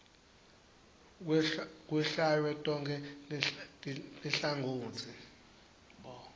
kwehlwaywe tonkhe tinhlangotsi